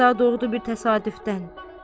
Bu qəza doğdu bir təsadüfdən.